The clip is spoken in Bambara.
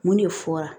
Mun de fɔra